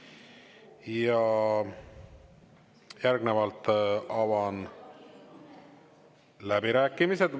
Ja järgnevalt avan läbirääkimised.